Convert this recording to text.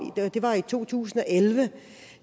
det var i to tusind og elleve